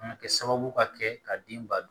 A bɛ kɛ sababu ka kɛ ka den ba don